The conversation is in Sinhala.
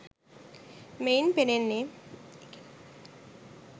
මෙයින් පෙනෙන්නේ